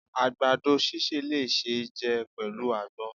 agbadọ síse le ṣe jẹ pẹlu agbòn